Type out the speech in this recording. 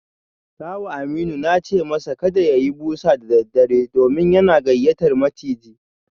Kawun Aminu na ce masa kada ya yi busa da daddare domin yana gayyatar maciji